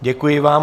Děkuji vám.